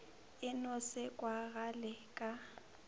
e no se kwagale ka